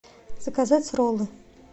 заказать роллы